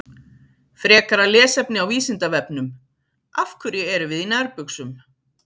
Frekara lesefni á Vísindavefnum: Af hverju erum við í nærbuxum?